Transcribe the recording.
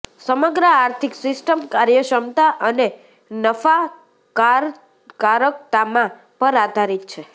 સમગ્ર આર્થિક સિસ્ટમ કાર્યક્ષમતા અને નફાકારકતામાં પર આધારિત છે